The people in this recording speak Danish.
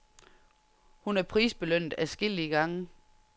Hun er prisbelønnet adskillige gange.